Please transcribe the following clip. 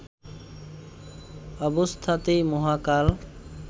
অবস্থাতেই মহাকাল